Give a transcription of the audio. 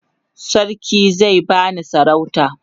sarki zai bani sarauta